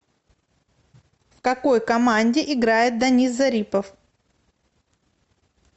в какой команде играет данис зарипов